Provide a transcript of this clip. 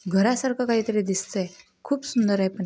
घरासारख काही तरी दिसतय खुप सुंदर आहे पण.